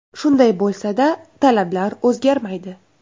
Shunday bo‘lsada talablar o‘zgarmaydi.